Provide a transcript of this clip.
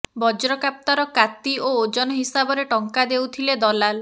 ବଜ୍ରକାପ୍ତାର କାତି ଓ ଓଜନ ହିସାବରେ ଟଙ୍କା ଦେଉଥିଲେ ଦଲାଲ